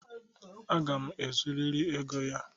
Aga m ezuriri ego ya.